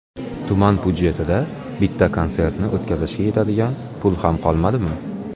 Tuman budjetida bitta konsertni o‘tkazishga yetadigan pul ham qolmadimi?